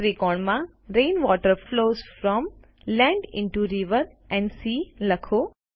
ત્રિકોણ માં rain water flows from land into rivers and sea લખો